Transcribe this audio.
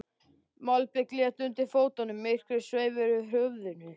Malbikið lék undir fótunum, myrkrið sveif yfir höfðunum.